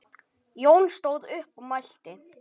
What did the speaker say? Jón stóð upp og mælti